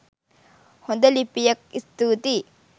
හොද ලිපියක් ස්තුතියි!